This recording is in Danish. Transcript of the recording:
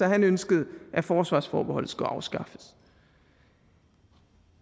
at han ønskede at forsvarsforbeholdet skulle afskaffes